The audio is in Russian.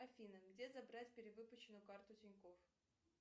афина где забрать перевыпущенную карту тинькофф